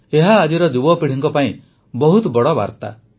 ଏହା ଆଜିର ଯୁବପିଢ଼ି ପାଇଁ ବହୁତ ବଡ଼ ସନ୍ଦେଶ